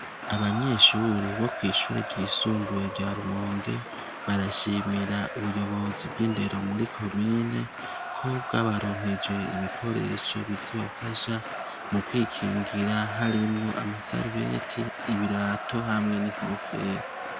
Abanyeshuri bo kw'ishure ryisumbuwe rya rumonge, barashimira ubuyobozi bw'indero muri komine ko bwabaronkeje ibikoresho bizubafasha mu kwikingira harimwo amasarubeti ibirato hamwe n'inkofero.